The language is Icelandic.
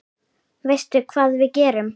Veistu hvað við gerum?